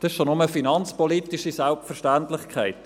Dies ist schon nur eine finanzpolitische Selbstverständlichkeit.